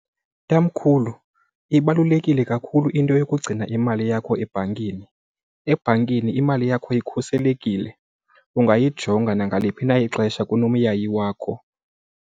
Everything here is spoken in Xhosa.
Tamkhulu, ibalulekile kakhulu into yokugcina imali yakho ebhankini. Ebhankini imali yakho ikhuselekile, ungayijonganga nangaliphi na ixesha kunomyayi wakho.